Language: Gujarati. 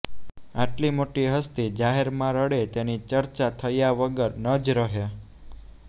આટલી મોટી હસ્તી જાહેરમાં રડે તેની ચર્ચા થયા વગર ન જ રહે